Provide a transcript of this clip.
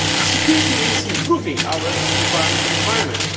Security means improving our environment and climate.